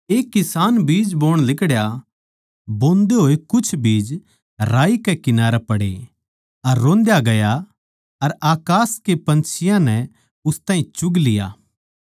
एक किसान बीज बोण लिकड़या बोंदे होए कुछ बीज राही कै किनारै पड़े अर रोंद्या गया अर अकास के पन्छियाँ नै उस ताहीं चुग लिया